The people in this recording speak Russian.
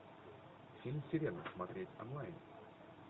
фильм сирена смотреть онлайн